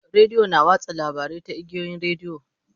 Rediyo na watsa labarai ta igiyoyin rediyo.